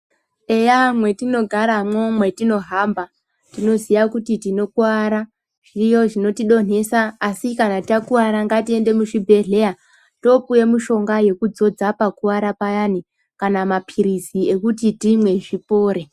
Eya mwetinogaramwo mwetinohamba tinoziya kuti tinokuwara zviriyo zvinotidontesa. Asi kana takuwara ngatiende muzvibhedhleya topuwe mushonga yekudzodza pakuwara payani kana mapilizi ekuti timwe zvipore.